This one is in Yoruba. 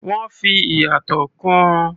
Wọ́n fi ìyàtọ̀ kún un.